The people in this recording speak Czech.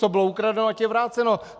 Co bylo ukradeno, ať je vráceno.